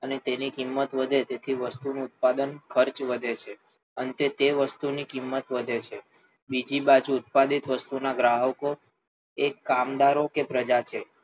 અને તેની કિંમત વધે તેથી વસ્તુનું ઉત્પાદન ખર્ચ વધે છે અંતે તે વસ્તુની કિંમત વધે છે બીજી બાજુ ઉત્પાદિત વસ્તુના ગ્રાહકો એ કામદારો કે પ્રજા છે